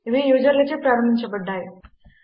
ఇవి యూజర్లచే ప్రారంభించబడ్డాయి